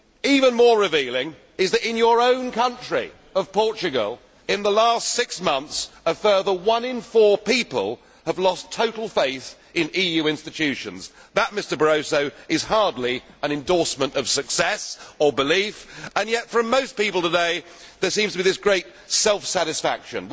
Even more revealing is that in your own country of Portugal, over the last six months, a further one in four people have lost total faith in EU institutions. That, Mr Barroso, is hardly an endorsement of success or belief, and yet from most people today, there seems to be such great self satisfaction.